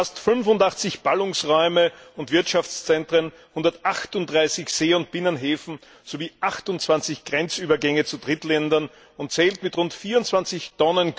Sie umfasst 85 Ballungsräume und Wirtschaftszentren, 138 See und Binnenhäfen sowie 28 Grenzübergänge zu Drittländern und zählt mit rund 24 Mio.